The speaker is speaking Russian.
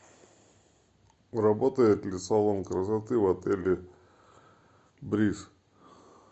работает ли салон красоты в отеле бриз